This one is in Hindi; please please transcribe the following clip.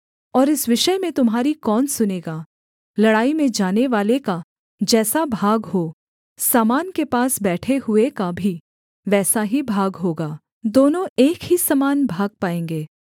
और इस विषय में तुम्हारी कौन सुनेगा लड़ाई में जानेवाले का जैसा भाग हो सामान के पास बैठे हुए का भी वैसा ही भाग होगा दोनों एक ही समान भाग पाएँगे